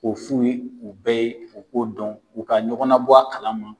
O f'u bɛɛ ye u k'o dɔn u ka ɲɔgɔn labɔ a kalama